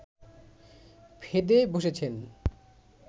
ফেঁদে বসেছেন